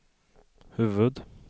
huvud-